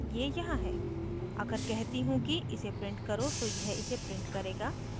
ये यहाँ है अगर कहती हूँ कि इसे print करो तो यह इसे print करेगा